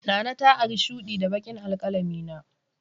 Nana ta ari shudi da baƙin alkalamina.